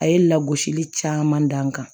A ye lagosili caman dan n kan